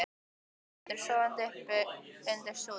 Og hún liggi eftir, sofandi uppi undir súð.